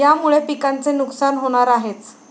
यामुळे पिकांचे नुकसान होणार आहेच.